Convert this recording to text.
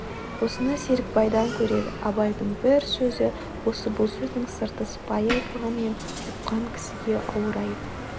осыны серікбайдан көреді абайдың бір сөзі осы бұл сөздің сырты сыпайы айтылғанмен ұққан кісіге ауыр айып